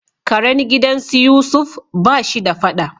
Karen gidan su Yusuf ba shi da fada.